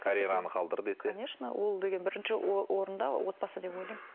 карьераны қалдыр десе конечно ол деген бірінші орында отбасы деп ойлаймын